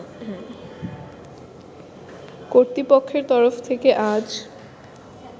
কর্তৃপক্ষের তরফ থেকে আজ